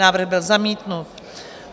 Návrh byl zamítnut.